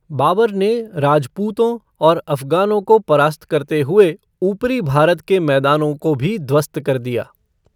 बाबर ने राजपूतों और अफ़गानों को परास्त करते हुए ऊपरी भारत के मैदानों को भी ध्वस्त कर दिया।